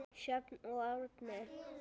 Sjöfn og Árni.